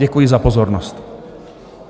Děkuji za pozornost.